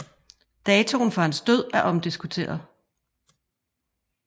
Datoen for hans død er omdiskuteret